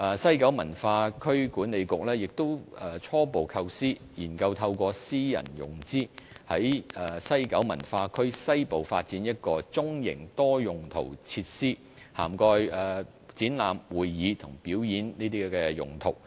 西九文化區管理局亦初步構思，研究透過私人融資，在西九文化區西部發展一個中型多用途設施，涵蓋展覽、會議及表演等用途。